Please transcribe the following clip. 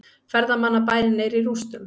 Ferðamannabærinn er í rústum